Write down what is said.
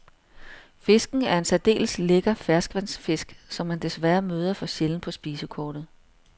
Fisken er en særdeles lækker ferskvandsfisk, som man desværre møder for sjældent på spisekortet.